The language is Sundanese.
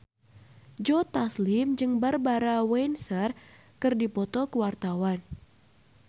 Joe Taslim jeung Barbara Windsor keur dipoto ku wartawan